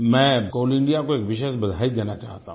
मैं Coal India को एक विशेष बधाई देना चाहता हूँ